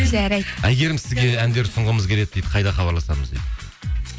жарайды әйгерім сізге әндер ұсынғымыз келеді дейді қайда хабарласамыз дейді